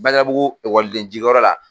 Badalabugu ekɔliden jiginyɔrɔ la